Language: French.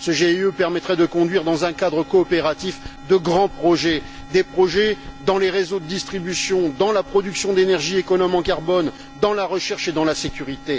Ce GIE permettrait de conduire, dans un cadre coopératif, de grands projets, des projets dans les réseaux de distribution, dans la production d'énergie économe en carbone, dans la recherche et dans la sécurité.